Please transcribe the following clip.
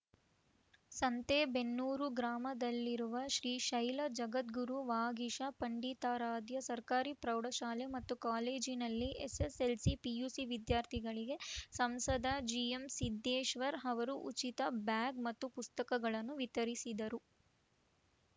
ಸಂತೆಬೆನ್ನೂರು ಗ್ರಾಮದಲ್ಲಿರುವ ಶ್ರೀಶೈಲ ಜಗದ್ಗುರು ವಾಗೀಶ ಪಂಡಿತಾರಾಧ್ಯ ಸರ್ಕಾರಿ ಪ್ರೌಢಶಾಲೆ ಮತ್ತು ಕಾಲೇಜಿನಲ್ಲಿ ಎಸ್‌ಎಸ್‌ಎಲ್‌ಸಿ ಪಿಯುಸಿ ವಿದ್ಯಾರ್ಥಿಗಳಿಗೆ ಸಂಸದ ಜಿಎಂಸಿದ್ದೇಶ್ವರ್‌ ಅವರು ಉಚಿತ ಬ್ಯಾಗ್‌ ಮತ್ತು ಪುಸ್ತಕಗಳನ್ನು ವಿತರಿಸಿದರು